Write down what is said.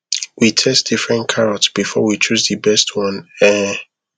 we test different carrot before we chose the best one um